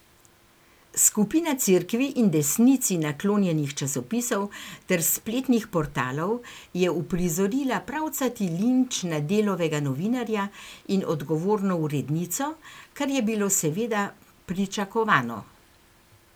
Skupina cerkvi in desnici naklonjenih časopisov ter spletnih portalov je uprizorila pravcati linč na Delovega novinarja in odgovorno urednico, kar je bilo seveda pričakovano.